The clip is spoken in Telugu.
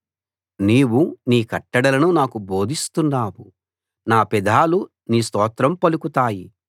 నీవు నీ కట్టడలను నాకు బోధిస్తున్నావు నా పెదాలు నీ స్తోత్రం పలుకుతాయి